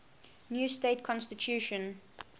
new state constitution